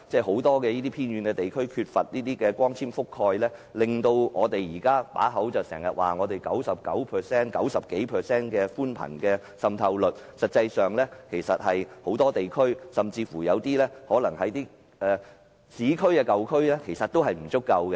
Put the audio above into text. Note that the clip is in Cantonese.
很多偏遠地區缺乏光纖網絡覆蓋，雖然我們經常說本港的寬頻服務覆蓋率高達 90% 以上，但實際上，很多地區，包括市區的舊區的覆蓋率其實也不足夠。